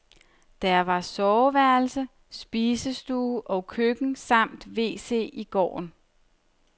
Der var soveværelse, spisestue og køkken samt wc i gården.